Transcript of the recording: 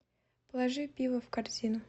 положи пиво в корзину